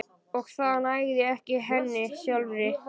Og það nægði ekki henni sjálfri.